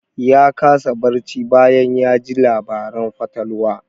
Ya kasa barci bayan ya ji labaran fatalwa.